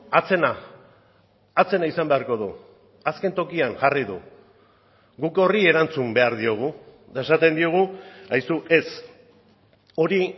atzena atzena izan beharko du azken tokian jarri du guk horri erantzun behar diogu eta esaten diogu aizu ez hori